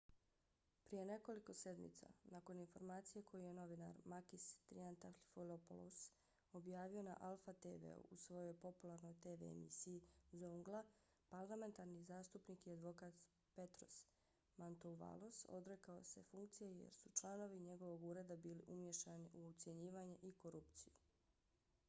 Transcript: prije nekoliko sedmica nakon informacije koju je novinar makis triantafylopoulos objavio na alpha tv-u u svojoj popularnoj tv emisiji zoungla parlamentarni zastupnik i advokat petros mantouvalos odrekao se funkcije jer su članovi njegovog ureda bili umiješani u ucjenjivanje i korupciju